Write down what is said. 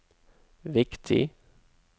viktig